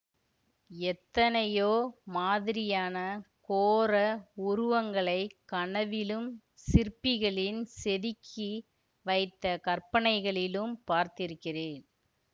எத்தனையோ மாதிரியான கோர உருவங்களைக் கனவிலும் சிற்பிகளின் செதுக்கி வைத்த கற்பனைகளிலும் பார்த்திருக்கிறேன்